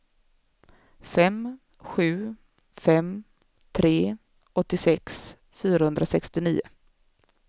fem sju fem tre åttiosex fyrahundrasextionio